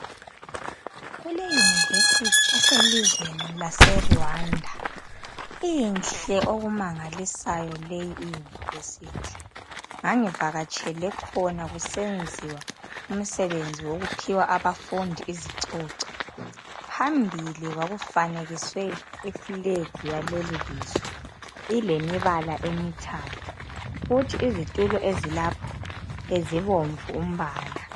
Kule university eselizweni laseRwanda. Inhle okumangalisayo leyi iuniversity. Ngangivakatshele khona kusenziwa umsebenzi wokuphiwa abafundi izicoco. Phambili kwakufanekiswe iflag yalelilizwe. Ilemibala emithathu. Futhi izitulo ezilapho, bezibomvu umbala .